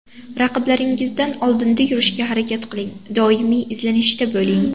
Raqiblaringizdan oldinda yurishga harakat qiling, doimiy izlanishda bo‘ling.